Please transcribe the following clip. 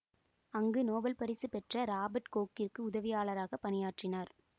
அங்கு நோபல் பரிசு பெற்ற இராபர்ட் கோக்கிற்கு உதவியாளராகப் பணியாற்றினார்